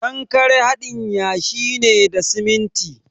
Kankare haɗin yashi ne da siminti.